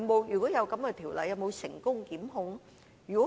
如有的話，有否成功檢控個案？